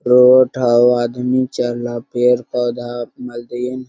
Road हो आदमी चल रहा पेड़ पोधा ।